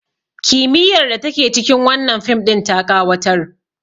kimiyyar da take cikin wannan fim ɗin ta ƙawatar